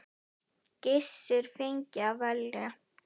Gissur fengi að velja.